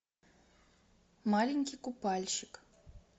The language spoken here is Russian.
маленький купальщик